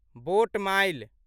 boat mile